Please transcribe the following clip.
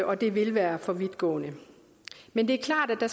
og det vil være for vidtgående men det er klart at